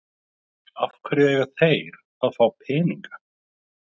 Af hverju eiga þeir að fá peninga?